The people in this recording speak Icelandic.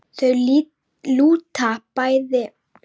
Þau lúta bæði niður til að skoða það betur.